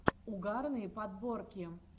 угарные подборки